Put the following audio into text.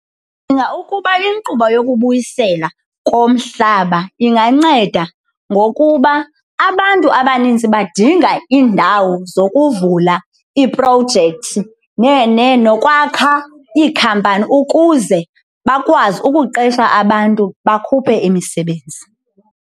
Ndicinga ukuba inkqubo yokubuyisela komhlaba inganceda ngokuba abantu abaninzi badinga iindawo zokuvula iiprojekthi nokwakha iikhampani ukuze bakwazi ukuqesha abantu, bakhuphe imisebenzi.